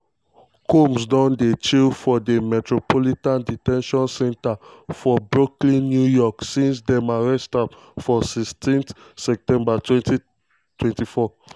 combs don dey chill for di metropolitan de ten tion center for brooklyn new york since dem arrest am on 16 september 2024.